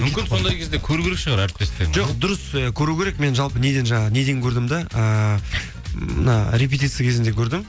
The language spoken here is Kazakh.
мүмкін сондай кезде көру керек шығар әріптестеріңді жоқ дұрыс иә көру керек мен жалпы неден жаңа неден көрдім де ііі мына репетиция кезінде көрдім